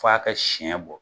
F'a ka siɲɛ bɔ.